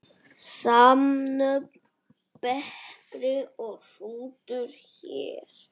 Samnöfn bekri og hrútur hér.